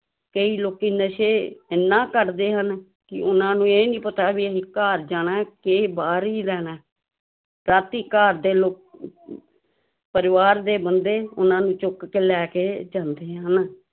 ਕਈ ਲੋਕੀ ਨਸ਼ੇ ਇੰਨਾ ਕਰਦੇ ਹਨ ਕਿ ਉਹਨਾਂ ਨੂੰ ਇਹ ਨੀ ਪਤਾ ਵੀ ਅਸੀਂ ਘਰ ਜਾਣਾ ਕਿ ਬਾਹਰ ਹੀ ਰਹਿਣਾ ਹੈ, ਰਾਤੀ ਘਰਦੇ ਲੋ ਪਰਿਵਾਰ ਦੇ ਬੰਦੇ ਉਹਨਾਂ ਨੂੰ ਚੁੱਕ ਕੇ ਲੈ ਕੇ ਜਾਂਦੇ ਹਨ।